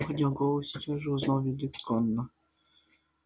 поднял голову и сейчас же узнал великана